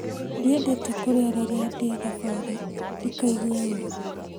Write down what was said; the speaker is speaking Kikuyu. Ndiendete kũrĩa rĩrĩa ndĩ thabarĩ ndikaigue ũru